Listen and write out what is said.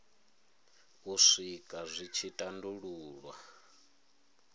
u swika dzi tshi tandululwa